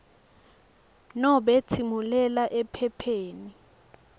nobe tsimulela ephepheni